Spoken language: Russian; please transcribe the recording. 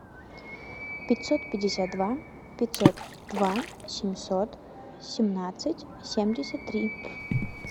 пятьсот пятьдесят два пятьсот два семьсот семнадцать семьдесят три